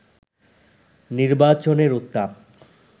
নির্বাচনের উত্তাপ